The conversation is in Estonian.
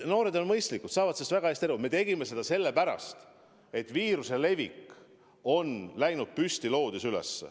Noored on mõistlikud, saavad väga hästi aru, et me tegime seda sellepärast, et viiruse levik on läinud püstloodis üles.